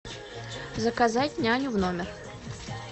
заказать няню в номер